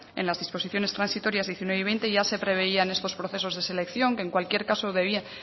en las disposiciones transitorias diecinueve y veinte ya se preveían estos procesos de selección que en cualquier caso